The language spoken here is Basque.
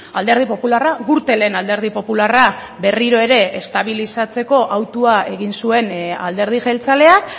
alderdi popularra gürtelen alderdi popularra berriro ere estabilizatzeko autua egin zuen alderdi jeltzaleak